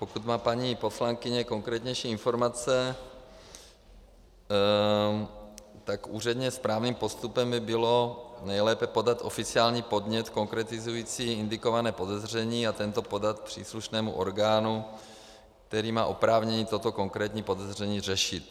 Pokud má paní poslankyně konkrétnější informace, tak úředně správným postupem by bylo nejlépe podat oficiální podnět konkretizující indikované podezření a tento podat příslušnému orgánu, který má oprávnění toto konkrétní podezření řešit.